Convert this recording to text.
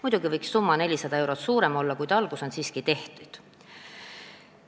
Muidugi võiks summa 400 eurost suurem olla, kuid algus on siiski tehtud.